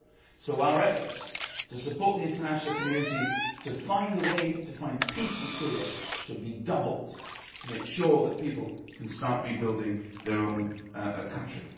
So our efforts to support the international community to find peace in Syria should be doubled to make sure that people can start rebuilding their own country.